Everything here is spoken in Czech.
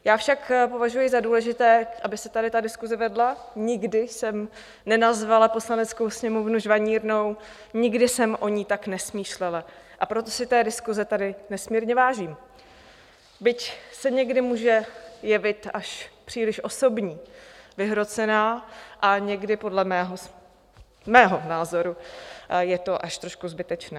Já však považuji za důležité, aby se tady ta diskuse vedla - nikdy jsem nenazvala Poslaneckou sněmovnu žvanírnou, nikdy jsem o ní tak nesmýšlela, a proto si té diskuse tady nesmírně vážím, byť se někdy může jevit až příliš osobní, vyhrocená a někdy podle mého názoru je to až trošku zbytečné.